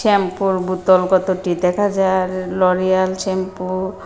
শ্যাম্পুর বোতল কতটি দেখা যার লরিয়াল শ্যাম্পু ।